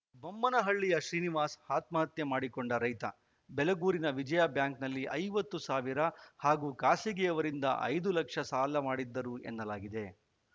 ಬೊಮ್ಮೇನಹಳ್ಳಿಯ ಶ್ರೀನಿವಾಸ ಆತ್ಮಹತ್ಯೆ ಮಾಡಿಕೊಂಡ ರೈತ ಬೆಲಗೂರಿನ ವಿಜಯಾಬ್ಯಾಂಕ್‌ನಲ್ಲಿ ಐವತ್ತು ಸಾವಿರ ಹಾಗೂ ಖಾಸಗಿಯವರಿಂದ ಐದು ಲಕ್ಷ ಸಾಲ ಮಾಡಿದ್ದರು ಎನ್ನಲಾಗಿದೆ